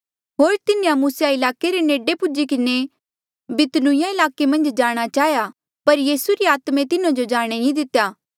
होर तिन्हें मुसिया ईलाके रे नेडे पुज्ही किन्हें बितूनिया ईलाके मन्झ जाणा चाहेया पर यीसू री आत्मे तिन्हा जो जाणे नी दितेया